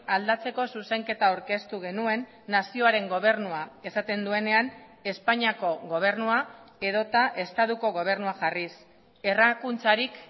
aldatzeko zuzenketa aurkeztu genuen nazioaren gobernua esaten duenean espainiako gobernua edota estatuko gobernua jarriz errakuntzarik